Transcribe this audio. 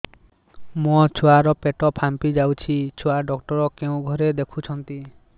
ମୋ ଛୁଆ ର ପେଟ ଫାମ୍ପି ଯାଉଛି ଛୁଆ ଡକ୍ଟର କେଉଁ ଘରେ ଦେଖୁ ଛନ୍ତି